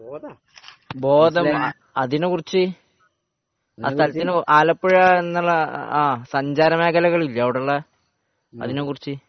ബോധം അതിനെക്കുറിച്ച് ആലപ്പുഴ എന്നുള്ള സഞ്ചാര മേഖലകൾ ഇല്ലേ അവിടെയുള്ളെ അതിനെക്കുറിച്ച്